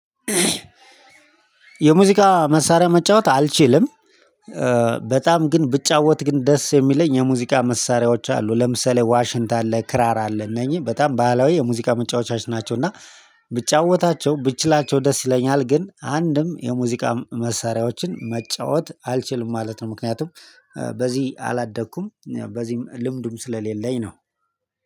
የሙዚቃ መሳሪያ መጫወት አልችልም። በጣም ግን ብጫወት ግን ደስ የሚለኝ የሙዚቃ መሳሪያዎች አሉ ለምሳሌ ዋሽንታ አለ ክራር አለ እነኚህ በጣም ባህላዊ የሙዚቃ መጫወቻዎች ናቸው እና ብጫወታቸው ብችላቸው ደስ ይለኛል። ግን አንድም የሙዚቃ መሳሪያዎችን መጫወት አልችልም ማለት ነው። ምክንያቱም በዚህ አላደኩም በዚህም ልምድሙ ስለሌለኝ ነው።